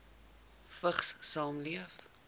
vigs saamleef